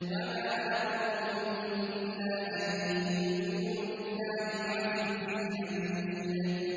وَمَا نَقَمُوا مِنْهُمْ إِلَّا أَن يُؤْمِنُوا بِاللَّهِ الْعَزِيزِ الْحَمِيدِ